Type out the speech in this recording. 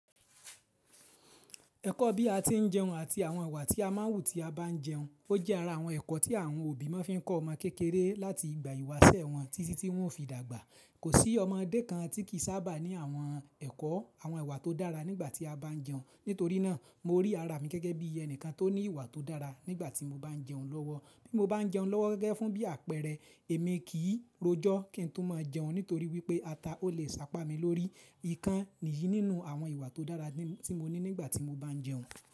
Ẹ̀kọ́ bí a ti ń jẹun àti àwọn ìwà tí a má ń wù tí a bá ń jẹun. Ó jẹ́ ara àwọn ẹ̀kọ́ tí àwọn òbí má ń fi kọ́ ọmọ kékeré láti ìgbà ìwásẹ̀ wọn títí tí wọ́n o fi dàgbà. Kò sí ọmọdé kan tí kì í sábà ní àwọn ẹ̀kọ́, àwọn ìwà tó dára nígbà tí a bá ń jẹun. Nítorí náà mo rí ara mi gẹ́gẹ́ bí ẹni kan tó ní ìwà tó dára nígbà tí mo bá ń jẹun lọ́wọ́. Bí mo bá ń jẹun lọ́wọ́ gẹ́gẹ́ fún bí àpẹẹrẹ, èmi kì í rojọ́ kí n tún máa jẹun nítorí wípé ata ó lè sá pá mi lórí. Ìkan nìyí nínú àwọn ìwà tó dára tí mo ní nígbà tí mo bá ń jẹun.